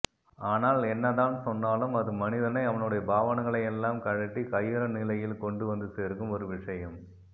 ஆனால் என்னதான் சொன்னாலும் அது மனிதனை அவனுடைய பாவனைகளை எல்லாம் கழற்றிக் கையறுநிலையில் கொண்டு வந்து சேர்க்கும் ஒரு விஷயம்